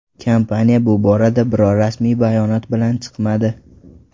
Kompaniya bu borada biror rasmiy bayonot bilan chiqmadi.